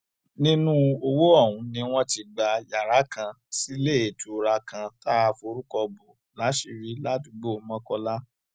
nínú owó ọhún ni wọn ti gba yàrá kan síléetura kan tá a forúkọ bo láṣìírí ládùúgbò mokola